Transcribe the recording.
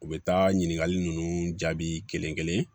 U bɛ taa ɲininkali ninnu jaabi kelen kelen